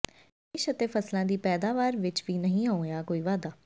ਨਿਵੇਸ਼ ਅਤੇ ਫਸਲਾਂ ਦੀ ਪੈਦਾਵਾਰ ਵਿੱਚ ਵੀ ਨਹੀਂ ਹੋਇਆ ਕੋਈ ਵਾਧਾ